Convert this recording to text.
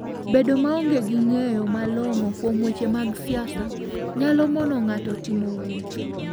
Bedo maonge gi ng'eyo malong'o kuom weche mag siasa nyalo mono ng'ato timo wuoth.